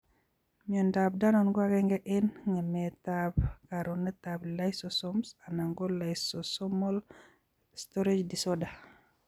Miondop danon ko agenge eng' ng'emetab konoretab lysosomes anan ko lysosomal storage disorder.